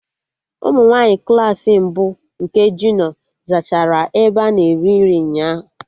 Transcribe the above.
Ụmụ nwaanyị Klassị mbụ nke junio zachara ebe a na-eri nri ụnyaahụ